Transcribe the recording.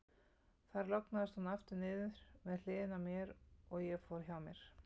Þar lognaðist hún aftur niður með hliðinni á mér, og ég fór hjá mér.